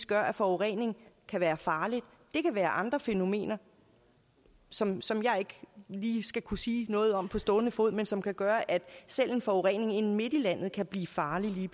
gør at forureningen kan være farlig det kan være andre fænomener som som jeg ikke lige skal kunne sige noget om på stående fod men som kan gøre at selv en forurening inde midt i landet kan blive farlig